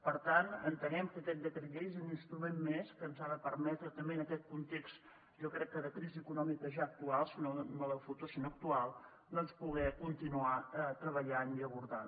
per tant entenem que aquest decret llei és un instrument més que ens ha de permetre també en aquest context jo crec que de crisi econòmica ja actual no de futur sinó actual doncs poder continuar treballant i abordant